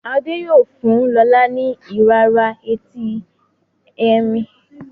Ade yíò fún lọla ni irara Ẹti Ẹrin.